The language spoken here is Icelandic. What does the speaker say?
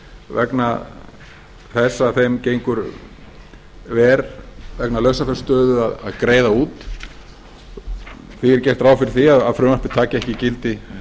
vegna þess að þeim gengur verr vegna lausafjárstöðu að greiða úr því er gert ráð fyrir því að frumvarpið taki ekki gildi